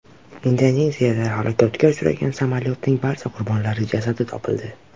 Indoneziyada halokatga uchragan samolyotning barcha qurbonlari jasadi topildi.